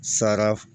Sara